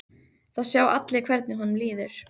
Það sjá allir hvernig honum líður.